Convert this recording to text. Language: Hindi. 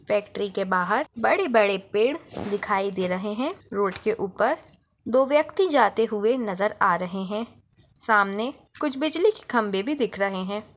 फ़ैक्टरी के बाहर बड़े-बड़े पेड़ दिखाई दे रहे है। रोड के ऊपर दो व्यक्ति जाते हुए नजर आ रहे है। सामने कुछ बिजली के खंबे भी दिख रहे है।